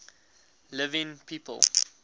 living people